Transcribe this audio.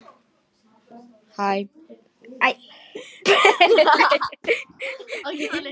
Hann var ekki spilltari en það.